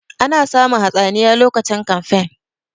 Ana samun hatsaniya lokacin kamfen